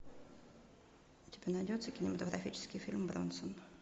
у тебя найдется кинематографический фильм бронсон